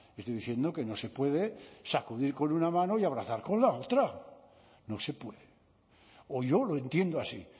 estoy diciendo que no se puede sacudir con una mano y abrazar con la otra no se puede o yo lo entiendo así